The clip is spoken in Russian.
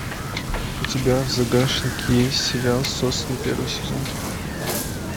у тебя в загашнике есть сериал сосны первый сезон